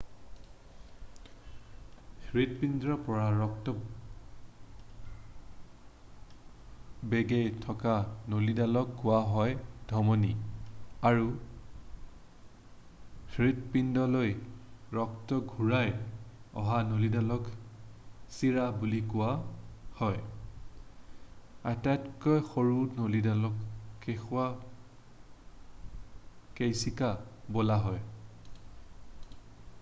হৃৎপিণ্ডৰ পৰা ৰক্ত বৈ গৈ থকা নলীডালক কোৱা হয় ধমনী আৰু হৃৎপিণ্ডলৈ ৰক্ত ঘূৰি অহা নলীডালক সিৰা বুলি কোৱা হয়। আটাইতকৈ সৰু নলীবোৰক কৈশিকা বোলা হ'য়।